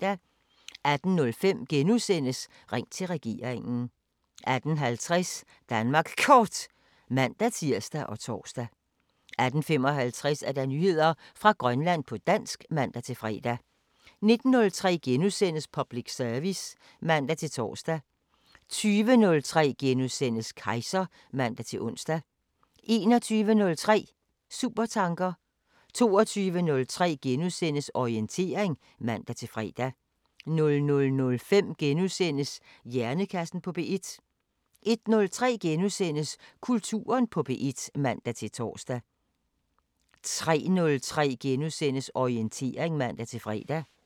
18:05: Ring til regeringen * 18:50: Danmark Kort (man-tir og tor) 18:55: Nyheder fra Grønland på dansk (man-fre) 19:03: Public service *(man-tor) 20:03: Kejser *(man-ons) 21:03: Supertanker 22:03: Orientering *(man-fre) 00:05: Hjernekassen på P1 * 01:03: Kulturen på P1 *(man-tor) 03:03: Orientering *(man-fre)